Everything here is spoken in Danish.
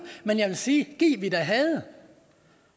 men jeg vil sige gid vi da havde